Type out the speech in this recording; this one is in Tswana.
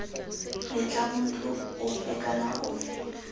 letla motho ofe kana ofe